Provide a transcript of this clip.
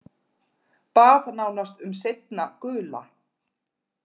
Bað nánast um seinna gula.